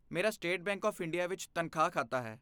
ਮੇਰਾ State Bank of India ਵਿੱਚ ਤਨਖਾਹ ਖਾਤਾ ਹੈ।